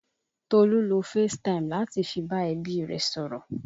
Tolu lo facetime láti fi bá ẹbí rẹ sọ̀rọ̀